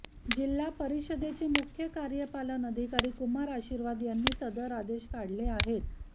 जिल्हा परिषदेचे मुख्य कार्यपालन अधिकारी कुमार आशीर्वाद यांनी सदर आदेश काढले आहेत